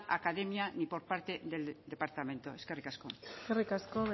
academia ni por parte del departamento eskerrik asko eskerrik asko